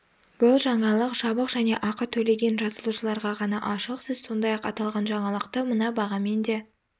бұл жаңалық жабық және ақы төлеген жазылушыларға ғана ашық сіз сондай-ақ аталған жаңалықты мына бағамен де